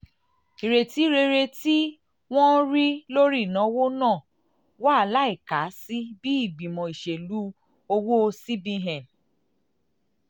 ìrètí rere tí um wọ́n rí um lórí ìnáwó náà náà wà láìka sí bí ìgbìmọ̀ ìṣèlú owó um cbn